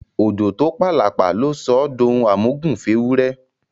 Òjò tó p’àlàpà ló sọ ọ d’ohun àmúgùn f’éwúrẹ